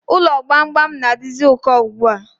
Ụlọ gbamgbam na-adizi ụkọ ugbua